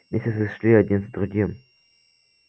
месяцы шли один за другим